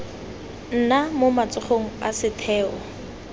nna mo matsogong a setheo